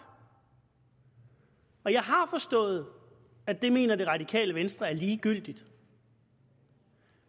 og jeg har forstået at det mener det radikale venstre er ligegyldigt